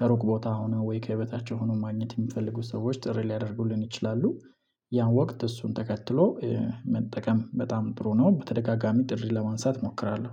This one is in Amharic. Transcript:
ከሩቅ ቦታ ሆነው ወይ ከህይወታቸው ሆነው ማግኘት የሚፈልጉ ሰዎች ጥሪ ሊያደርጉልን ይችላሉ። ያን ወቅት እሱን ተከትሎ መጠቀም በጣም ጥሩ ነው። በተደጋጋሚ ጥሪ ለማንሳት እሞክራለሁ